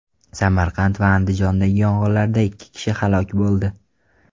Samarqand va Andijondagi yong‘inlarda ikki kishi halok bo‘ldi.